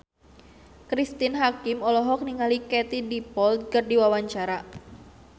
Cristine Hakim olohok ningali Katie Dippold keur diwawancara